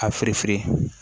A fereferen